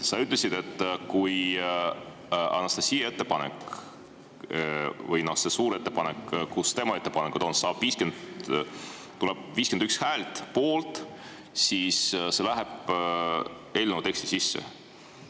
Sa ütlesid, et kui Anastassia ettepanek või see suur muudatusettepanek, mis sisaldab ka tema ettepanekuid, saab 51 poolthäält, siis see läheb eelnõu teksti sisse.